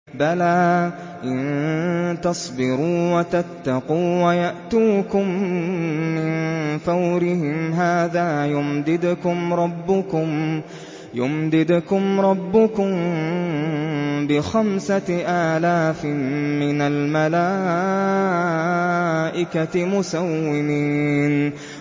بَلَىٰ ۚ إِن تَصْبِرُوا وَتَتَّقُوا وَيَأْتُوكُم مِّن فَوْرِهِمْ هَٰذَا يُمْدِدْكُمْ رَبُّكُم بِخَمْسَةِ آلَافٍ مِّنَ الْمَلَائِكَةِ مُسَوِّمِينَ